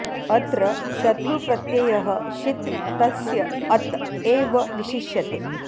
अत्र शतृ प्रत्ययः शित् तस्य अत् एव विशिष्यते